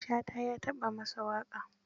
Shata ya taɓa yi masa waƙa.